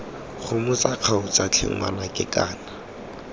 gomotsa kgaotsa tlhe ngwanaka kana